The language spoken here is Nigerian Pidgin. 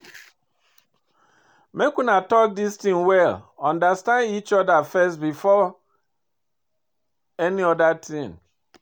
Make una talk dis thing well understand each other first before any other thing